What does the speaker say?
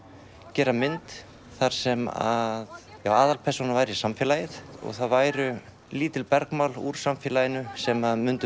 gera mynd þar sem að aðalpersónan væri samfélagið og það væru lítil bergmál úr samfélaginu sem myndu